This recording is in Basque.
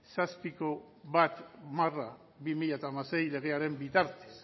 zazpiko bat barra bi mila hamasei legearen bitartez